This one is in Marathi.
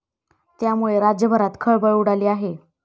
त्यामुळे राज्यभरात खळबळ उडाली आहे.